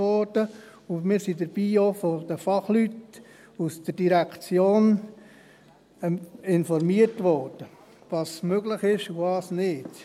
Wir wurden dabei von den Fachleuten aus der Direktion darüber informiert, was möglich ist, und was nicht.